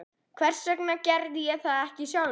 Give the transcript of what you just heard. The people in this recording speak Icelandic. Hvers vegna ég gerði það ekki sjálfur?